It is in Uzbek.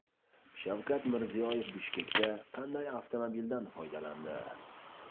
Shavkat Mirziyoyev Bishkekda qanday avtomobildan foydalandi?